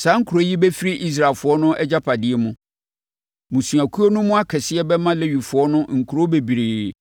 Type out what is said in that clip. Saa nkuro yi bɛfiri Israelfoɔ no agyapadeɛ mu. Mmusuakuo no mu akɛseɛ bɛma Lewifoɔ no nkuro bebree